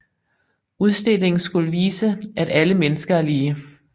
Udstillingen skulle vise at alle mennesker er lige